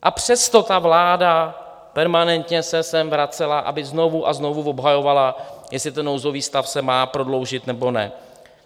A přesto ta vláda permanentně se sem vracela, aby znovu a znovu obhajovala, jestli ten nouzový stav se má prodloužit, nebo ne.